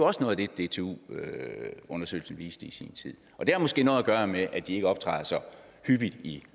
også noget af det dtu undersøgelsen viste i sin tid og det har måske noget at gøre med at de ikke optræder så hyppigt i